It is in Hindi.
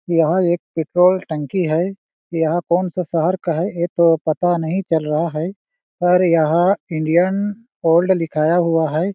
यहाँ एक पेट्रोल टंकी है यहाँ कौन सा शहर का है ये तो पता नहीं चला रहा है पर यहाँ इंडियन ओल्ड लिखाया हुआ है।